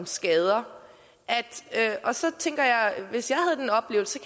skader så tænker jeg hvis jeg havde den oplevelse